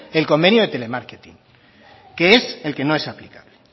el convenio de telemarketing que es el que no es aplicable